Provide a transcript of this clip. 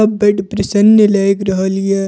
सब बड़ प्रसन्न लाएग रहल ये।